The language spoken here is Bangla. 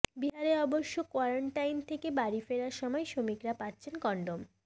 বিহারে অবশ্য কোয়ারেন্টাইন থেকে বাড়ি ফেরার সময় শ্রমিকরা পাচ্ছেন কন্ডোম